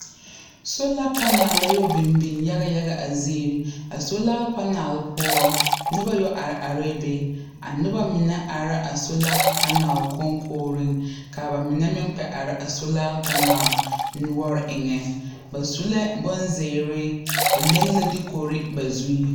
Sola panal la yɔ biŋ biŋ yagayaga a zeere a sola panal poɔ nobɔ yɛ are are be a nobɔ mine are la a sola panal koŋkogreŋ kaa ba mine meŋ kpɛ are a sola panal noɔre eŋɛ ba su la bonzeere ba leŋ la dukore ba zuŋ.